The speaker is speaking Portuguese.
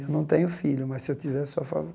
Eu não tenho filho, mas, se eu tivesse, sou a favor.